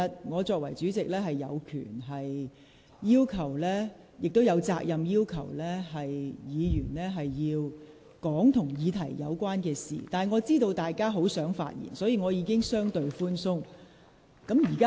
我作為代理主席，有權亦有責任要求議員論述與議題相關的事宜，但我明白大家很想發言，所以我已處理得相對寬鬆。